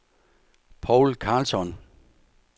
Poul Karlsson